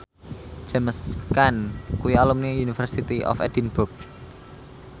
James Caan kuwi alumni University of Edinburgh